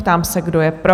Ptám se, kdo je pro?